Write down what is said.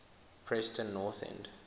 preston north end